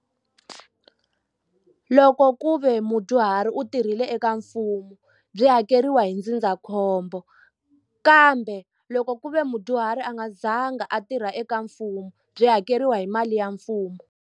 Loko ku ve mudyuhari u tirhile eka mfumo byi hakeriwa hi ndzindzakhombo kambe loko ku ve mudyuhari a nga zanga a tirha eka mfumo byi hakeriwa hi mali ya mfumo.